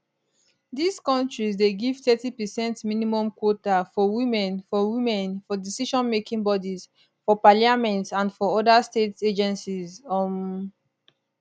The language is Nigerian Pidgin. dis kontris dey give thirty percent minimum quota for women for women for decisionmaking bodies for parliament and for oda state agencies um